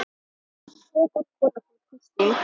Hún var svo góð kona hún Kristín.